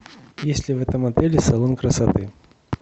есть ли в этом отеле салон красоты